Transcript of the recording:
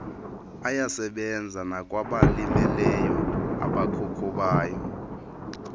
ayasebenza nakwabalimeleyo abakhokhobayo